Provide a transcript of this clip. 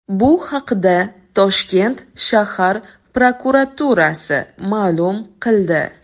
Bu haqda Toshkent shahar prokuraturasi ma’lum qildi .